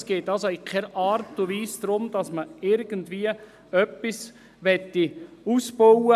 Es geht also in keiner Art und Weise darum, irgendetwas auszubauen.